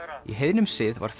í heiðnum sið var